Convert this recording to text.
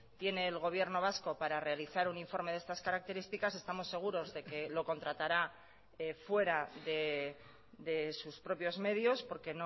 tiene el gobierno vasco para realizar un informe de estas características estamos seguros de que lo contratará fuera de sus propios medios porque